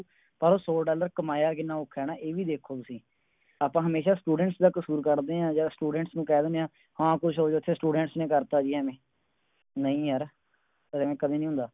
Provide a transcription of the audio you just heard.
ਪਰ ਸੌ Dollar ਕਮਾਇਆ ਕਿੰਨਾ ਔਖਾ ਹੈ ਏ ਵੀ ਦੇਖੋ ਤੁਸੀਂ ਅੱਪਾ ਹਮੇਸ਼ਾ Students ਦਾ ਕਸੂਰ ਕੱਢ ਦੇ ਆ ਜਾ Students ਨੂੰ ਕਹਿ ਦਿੰਦੇ ਆ ਹਾਂ ਕੁਝ Students ਨੇ ਕਰ ਤਾ ਜੀ ਐਵੇ ਨਹੀਂ ਯਾਰ ਕਦੀ ਨਹੀਂ ਹੁੰਦਾ